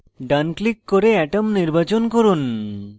ডান click করে atom নির্বাচন করুন